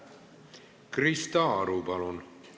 Krista Aru, palun!